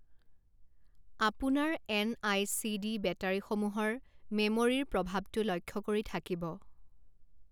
আপোনাৰ এন.আই.চি.ডি. বেটাৰিসমূহৰ মেম'ৰিৰ প্ৰভাৱটো লক্ষ্য কৰি থাকিব।